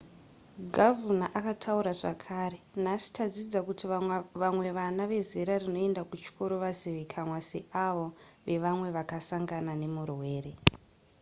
gavhuna akataura zvekare nhasi tadzidza kuti vamwe vana vezera rinoenda kuchikoro vazivikanwa seavo vevamwe vakasangana nemurwere